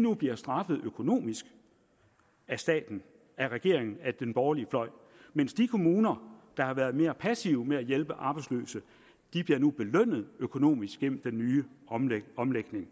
nu bliver straffet økonomisk af staten af regeringen af den borgerlige fløj mens de kommuner der har været mere passive med at hjælpe arbejdsløse nu bliver belønnet økonomisk gennem den nye omlægning omlægning